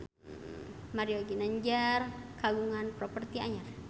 Mario Ginanjar kagungan properti anyar